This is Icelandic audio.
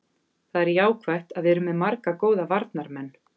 Það er jákvætt að við erum með marga góða varnarmenn.